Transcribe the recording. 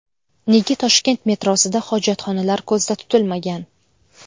Nega Toshkent metrosida hojatxonalar ko‘zda tutilmagan?.